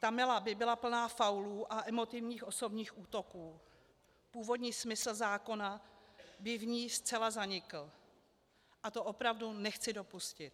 Ta mela by byla plná faulů a emotivních osobních útoků, původní smysl zákona by v ní zcela zanikl a to opravdu nechci dopustit.